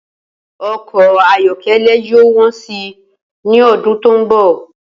O̩kò̩ ayó̩ké̩lé̩ yóò wó̩n si ní o̩dún tó ń bò̩